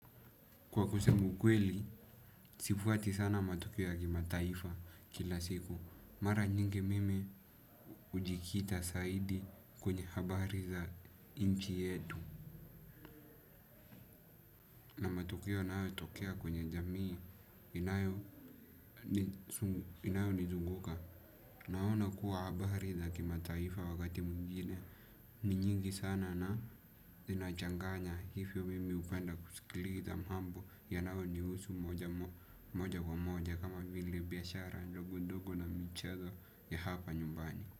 Kwa kusema ukweli, sifuati sana matokeo ya kimataifa kila siku. Mara nyingi mimi hujikita zaidi kwenye habari za nchi yetu. Tukio inayotokea kwenye jamii, inayonizunguka. Naona kuwa bahari la kimataifa wakati mwingine ni nyingi sana na inachanganya. Hivyo mimi hupenda kusikiliza mambo yanayonihusu moja kwa moja kama vile biashara ndogo ndogo na michezo ya hapa nyumbani.